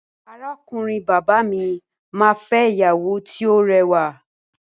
Arákùnrin bàbá mi máa fẹ́ ìyàwó tí ó rẹwà.